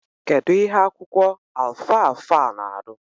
Kedu ihe akwụkwọ alfalfa na arụ?